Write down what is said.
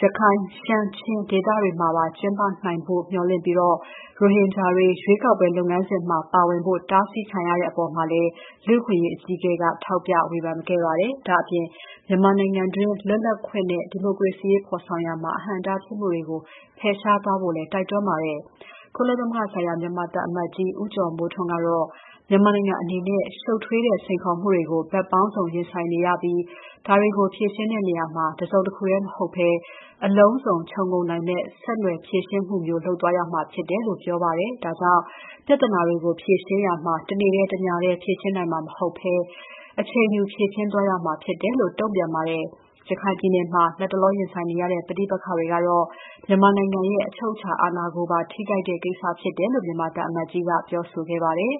ရခိုင် ရှမ်း ချင်း ဒေသတွေမှာပါ ကျင်းပနိုင်ဖို့ မျှော်လင့်ပြီး ရိုဟင်ဂျာတွေ ရွေးကောက်ပွဲ လုပ်ငန်းစဉ်မှာ ပါဝင်ဖို့ တားဆီးခံရတဲ့အပေါ်မှာလည်း ကုလလူ့အခွင့်အရေးအကြီးအကဲက ထောက်ပြဝေဖန်ခဲ့ပါတယ်။ ဒါ့အပြင် မြန်မာနိုင်ငံတွင်း လွတ်လပ်ခွင့်နဲ့ ဒီမိုကရေစီရေးဖော်ဆောင်ရာမှာ အဟန့်အတားဖြစ်မှုတွေကို ဖယ်ရှားသွားဖို့လည်း တိုက်တွန်းထားပါတယ်။ ကုလသမဂ္ဂဆိုင်ရာ မြန်မာသံအမတ်ကြီး ဦးကျော်မိုးထွန်းကတော့ မြန်မာနိုင်ငံအနေနဲ့ ရှုပ်ထွေးတဲ့စိန်ခေါ်မှုတွေကို ဘက်ပေါင်းစုံ ရင်ဆိုင်နေရပြီး၊ ဒါတွေကို ဖြေရှင်းရာမှာ တစုံတခုတည်း မဟုတ်ဘဲ အလုံးစုံခြုံငုံမယ့် ဆက်နွယ်ဖြေရှင်းမှုမျိုး လုပ်သွားရမှာဖြစ်တယ်လို့ ပြောပါတယ်။ ဒါကြောင့် ပြဿနာတွေကို ဖြေရှင်းရာမှာ တနေ့တည်း တညတည်းဖြေရှင်းနိုင်မှာ မဟုတ်ဘဲ အချိန်ယူဖြေရှင်းသွားရမှာဖြစ်တယ်လို့ တုံ့ပြန်ပါတယ်။ ရခိုင်ပြည်မှာ လတ်တလောရင်ဆိုင်နေရတဲ့ ပဋိပက္ခကတော့ မြန်မာနိုင်ငံရဲ့အချုပ်အချာအာဏာကိုပါ ထိခိုက်တဲ့ကိစ္စဖြစ်တယ်လို့ မြန်မာသံအမတ်ကြီးက ပြောဆိုခဲ့ပါတယ်